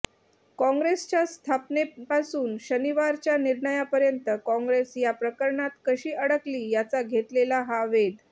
काँग्रेसच्या स्थापनेपासून शनिवारच्या निर्णयापर्यंत काँग्रेस या प्रकरणात कशी अडकली याचा घेतलेला हा वेध